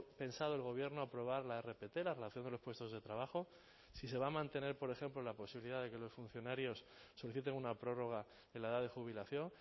pensado el gobierno aprobar la rpt la relación de los puestos de trabajo si se va a mantener por ejemplo la posibilidad de que los funcionarios soliciten una prórroga en la edad de jubilación